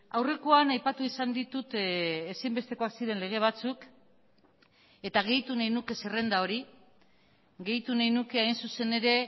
aurrekoan aipatu izan ditut ezinbestekoak ziren lege batzuk eta gehitu nahi nuke zerrenda hori gehitu nahi nuke hain zuzen ere